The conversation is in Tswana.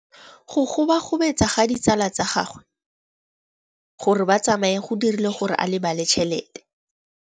Go gobagobetsa ga ditsala tsa gagwe, gore ba tsamaye go dirile gore a lebale tšhelete.